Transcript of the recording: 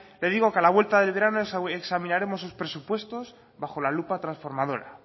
le digo que a la vuelta del verano examinaremos sus presupuestos bajo la lupa transformadora